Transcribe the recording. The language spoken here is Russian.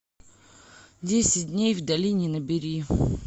десять дней в долине набери